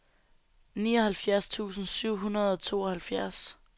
nioghalvfjerds tusind syv hundrede og tooghalvfjerds